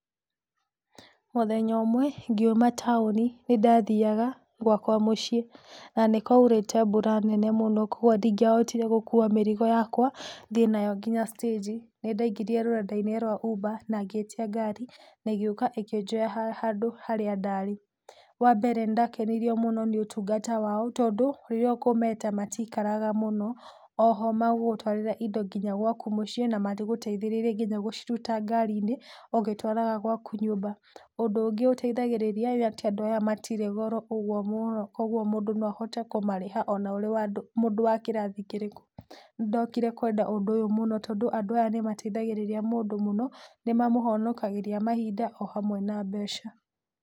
Mũthenya ũmwe ngiuma taũni nĩ ndathiaga gwakwa mũciĩ na nĩ kwaurĩte mbura nene mũno kwoguo ndingĩahotire gũkua mĩrigo yakwa thiĩ nayo nginya stage nĩ ndaingĩrire rũrenda-inĩ rwa uber ngĩtia ngari na ĩgĩũka ĩkĩnjoya harĩa ndarĩ, wa mbere nĩ ndakenirio mũno nĩ ũtungata wao tondũ rĩrĩa ũkũmeta matikaraga mũno oho magũgũtwarĩre indo nginya gwaku mũciĩ na magũteithĩrĩrie gũciruta nginya ngari-inĩ ũgĩtwaraga gwaku nyũmba ũndũ ũngĩ ũteithagĩrĩria andũ aya matitĩ goro ũguo mũndũ no ahote kũmarĩha ona ũrĩ mũndũ wa kĩrathi kĩrĩkũ, nĩ ndokire kwenda ũndũ ũyũ mũno tondũ andũ aya nĩ mateithagĩrĩria mũno, nĩ mamũhonokagĩria mahinda o hamwe na mbeca.